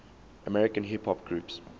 american hip hop groups